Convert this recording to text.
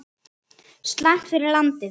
Slæmt fyrir landið!